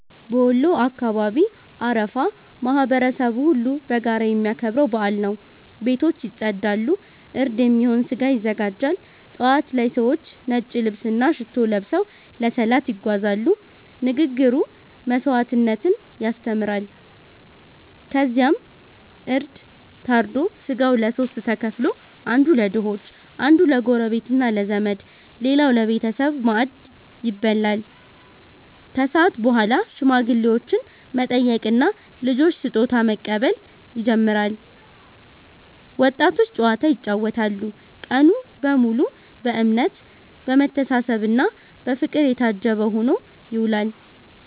በወሎ አካባቢ አረፋ ማህበረሰቡ ሁሉ በጋራ የሚያከብረው በዓል ነው። ቤቶች ይጸዳሉ፣ እርድ የሚሆን እንስሳ ይዘጋጃል። ጠዋት ላይ ሰዎች ነጭ ልብስና ሽቶ ለብሰው ለሰላት ይጓዛሉ፤ ንግግሩ መስዋዕትነትን ያስተምራል። ከዚያ እርድ ታርዶ ሥጋው ለሦስት ተከፍሎ፦ አንዱ ለድሆች፣ አንዱ ለጎረቤትና ለዘመድ፣ ሌላው ለቤተሰብ ማዕድ ይበላል። ከሰዓት በኋላ ሽማግሌዎችን መጠየቅና ልጆች ስጦታ መቀበል ይጀምራል፤ ወጣቶች ጨዋታ ይጫወታሉ። ቀኑ በሙሉ በእምነት፣ በመተሳሰብና በፍቅር የታጀበ ሆኖ ይውላል።